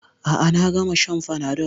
A'a, na gama shan fanadol